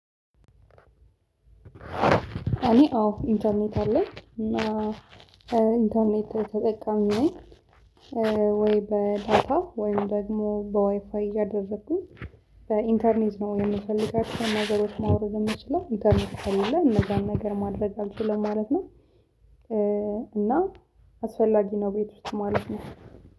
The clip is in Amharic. እኔ አዎ ኢንተርኔት አለኝ እና ኢንተርኔት ተጠቃሚ ወይ በዳታ ወይም ደግሞ በዋይፋይ እያደረገኝ በኢንተርኔት ነው የምፈልጋቸው ነገሮች ማውረድ የምችለው ኢንተርኔት ከሌለ የምፈልገው እነዛን ነገር ማድረግ አልችልም ማለት ነው። እና አስፈላጊ ነው ቤት ውስጥ ማለት ነው